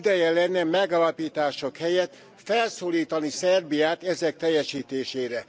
Ideje lenne megállapítások helyett felszólítani Szerbiát ezek teljesítésére.